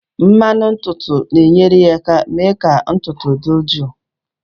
Mmanụ ntutu na-enyere aka mee ka ntutu dị jụụ